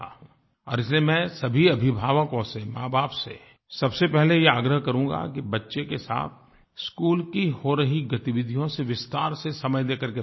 और इसलिये मैं सभी अभिभावकों से माँबाप से सबसे पहले यह आग्रह करूँगा कि बच्चे के साथ स्कूल की हो रही गतिविधियों से विस्तार से समय देकर के बातें करें